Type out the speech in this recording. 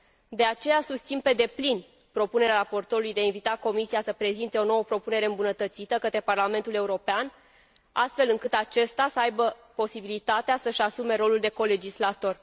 De aceea, susțin pe deplin propunerea raportorului de a invita Comisia să prezinte o nouă propunere îmbunătățită către Parlamentul European, astfel încât, acesta să aibă posibilitatea să și asume rolul de colegislator.